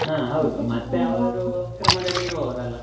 ಹಾ ಹೌದು ಕ್ರಮದಲ್ಲಿ ಇರುವವರಲ್ಲಾ.